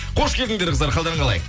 қош келдіңдер қыздар қалдарың қалай